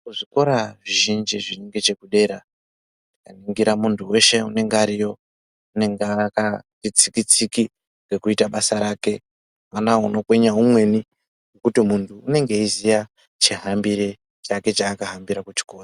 Kuzvikora zvizhinji zviri ngechekudera tikaningira muntu weshe unenge ariyo, unenge akati tsiki-tsiki ngekuita basa rake. Hapana unokwenya umweni nekuti munhu unenge eiziya chihambire chake chaakahambira kuchikora.